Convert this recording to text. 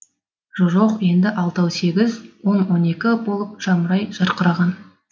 жо жоқ енді алтау сегіз он он екі болып жамырай жарқыраған